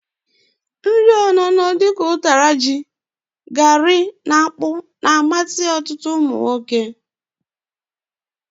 Nri ololo dika utara ji, eba na fufu na-amasi otutu umunwoke.